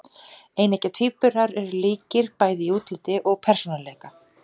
Eineggja tvíburar eru líkir bæði í útliti og persónuleika.